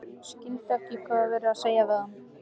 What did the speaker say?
Skildi ekki hvað var verið að segja við hann.